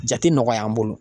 Jate nɔgɔya an bolo.